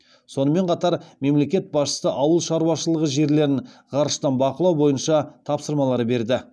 сонымен қатар мемлекет басшысы ауыл шаруашылығы жерлерін ғарыштан бақылау бойынша тапсырмалар берді